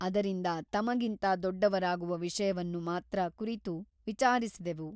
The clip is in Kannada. ಅದರಿಂದ ತಮಗಿಂತ ದೊಡ್ಡವರಾಗುವ ವಿಷಯವನ್ನು ಮಾತ್ರ ಕುರಿತು ವಿಚಾರಿಸಿದೆವು.